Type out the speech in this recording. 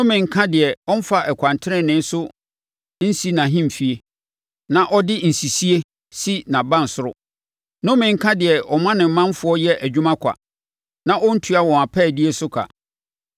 “Nnome nka deɛ ɔmfa ɛkwan tenenee so nsi nʼahemfie, na ɔde nsisie si nʼabansoro. Nnome nka deɛ ɔma ne ɔmanfoɔ yɛ adwuma kwa, na ɔntua wɔn apaadie so ka.